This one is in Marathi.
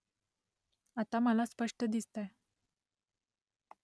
आता मला स्पष्ट दिसतंय